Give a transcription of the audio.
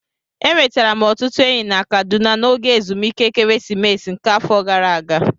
E nwetara m ọtụtụ enyi na Kaduna n'oge ezumike ekeresimesi nke afọ gara ágá